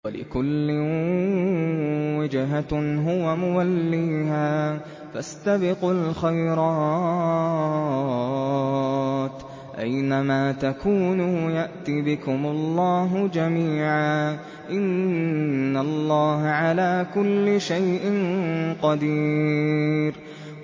وَلِكُلٍّ وِجْهَةٌ هُوَ مُوَلِّيهَا ۖ فَاسْتَبِقُوا الْخَيْرَاتِ ۚ أَيْنَ مَا تَكُونُوا يَأْتِ بِكُمُ اللَّهُ جَمِيعًا ۚ إِنَّ اللَّهَ عَلَىٰ كُلِّ شَيْءٍ قَدِيرٌ